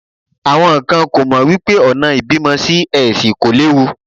Àwọn kan kò mọ̀ wípé ọ̀nà ìbímọ Sí-Ẹsì kò léwu.